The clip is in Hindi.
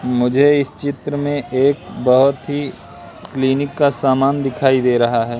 मुझे इस चित्र में एक बहोत ही क्लीनिक का सामान दिखाई दे रहा है।